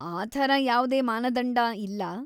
ಆ ಥರ ಯಾವ್ದೇ ಮಾನದಂಡ ಇಲ್ಲ.